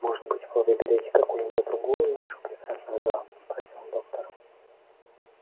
может быть вы выберете какую-нибудь другую из наших прекрасных дам спросил доктор